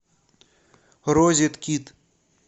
розеткед